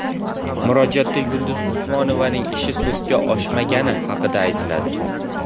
Murojaatda Yulduz Usmonovaning ishi sudga oshmagani haqida aytiladi.